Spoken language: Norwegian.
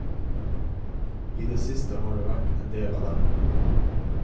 I det siste har det vært en del av dem.